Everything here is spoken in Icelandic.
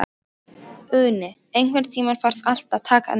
Uni, einhvern tímann þarf allt að taka enda.